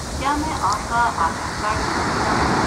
کیا میں آپ کا آدھار کارڈ دیکھ سکتا ہوں؟